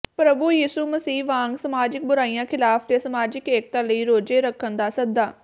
ਪ੍ਰਭੂ ਯਿਸੂ ਮਸੀਹ ਵਾਂਗ ਸਮਾਜਿਕ ਬੁਰਾਈਆਂ ਖਿਲਾਫ ਤੇ ਸਮਾਜਿਕ ਏਕਤਾ ਲਈ ਰੋਜ਼ੇ ਰੱਖਣ ਦਾ ਸੱਦਾ